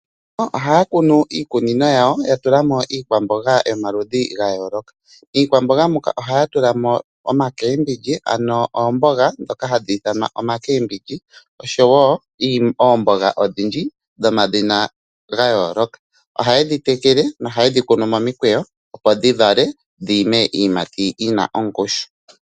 Ohaya kunu iikunino yawo yiikwamboga yomaludhi gayoolokathana . Miikwamboga muka ohaya tula mo omaCabbage oshowoo oomboga odhindji dhomadhina gayooloka. Ohayedhi tekele nohayedhi kunu momikweyo dhiime iiyimati yina ongushu.